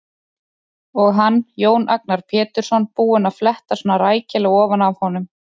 Og hann, Jón Agnar Pétursson, búinn að fletta svona rækilega ofan af honum!